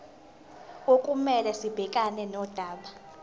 okumele sibhekane nodaba